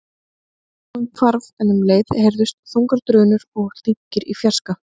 Bergbúinn hvarf en um leið heyrðust þungar drunur og dynkir í fjarska.